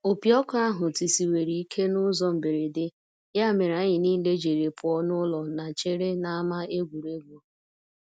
Opi ọkụ ahụ tisiwere ikè n'ụzọ mberede ya mere anyị niile jiri pụọ n'ụlọ na chere n'ama egwuregwu.